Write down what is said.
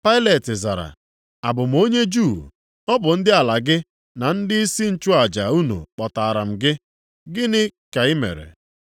Pailet zara, “Abụ m onye Juu? Ọ bụ ndị ala gị na ndịisi nchụaja unu kpọtaara m gị. Gịnị ka i mere?”